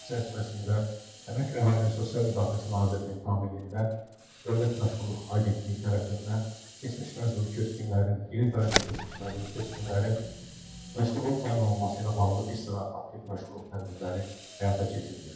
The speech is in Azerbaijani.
Bu siyasət çərçivəsində əmək və əhalinin sosial müdafiəsi nazirliyinin tabeliyində Dövlət Məşğulluq Agentliyi tərəfindən keçmiş məcburi köçkünlərin, geri qayıdan keçmiş məcburi köçkünlərin məşğulluğun təmin olunması ilə bağlı bir sıra aktiv məşğulluq tədbirləri həyata keçirilmişdir.